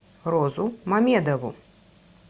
розу мамедову